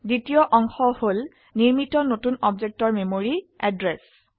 দ্বিতীয় অংশ হল নিৰ্মিত নতুন অবজেক্টৰ মেমৰি এড্ৰেস